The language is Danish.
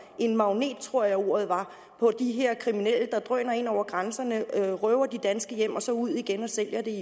en magnet tror jeg ordet var på de her kriminelle der drøner ind over grænserne røver de danske hjem og så tager ud igen og sælger det